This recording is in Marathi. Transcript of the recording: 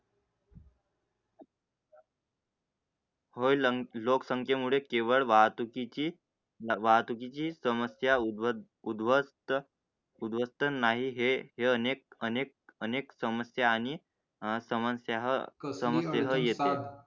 होईल लोकसंख्येमुळे केवळ वाहतूकीची वाहतूकीची समस्या उद् ध्वस्त उद्भवत नाही हे अनेक अनेक अनेक समस्या आणि आह समजा आह कसं येतील?